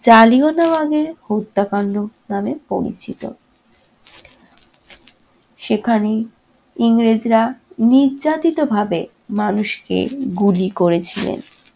জালিওনাবাগের হত্যাকান্ড নাম পরিচিত। সেখানে ইংরেজরা নির্যাতিতভাবে মানুষকে গুলি করেছিলেন।